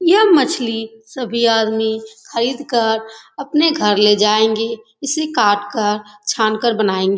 यह मछली सभी आदमी खरीदकर अपने घर ले जायेंगे। इसे काटकर छानकर बनायेंगे।